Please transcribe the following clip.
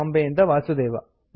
ಬಾಂಬೆಯಿಂದ ವಾಸುದೇವ